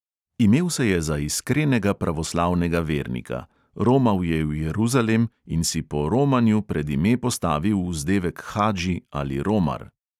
Imel se je za iskrenega pravoslavnega vernika, romal je v jeruzalem in si po romanju pred ime postavil vzdevek hadži ali romar.